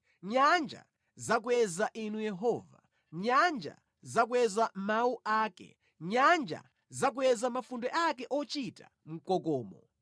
Nyanja zakweza Inu Yehova, nyanja zakweza mawu ake; nyanja zakweza mafunde ake ochita mkokomo.